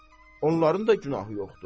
Xeyr, onların da günahı yoxdur.